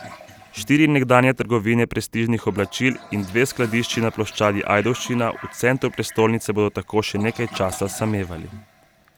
Štiri nekdanje trgovine prestižnih oblačil in dve skladišči na ploščadi Ajdovščina v centru prestolnice bodo tako še nekaj časa samevali.